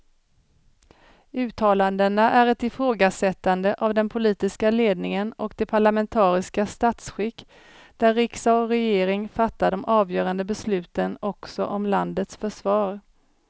Uttalandena är ett ifrågasättande av den politiska ledningen och det parlamentariska statsskick där riksdag och regering fattar de avgörande besluten också om landets försvar.